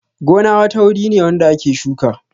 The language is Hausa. Gona wata guri ne wanda ake shuka